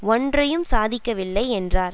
ஒன்றையும் சாதிக்கவில்லை என்றார்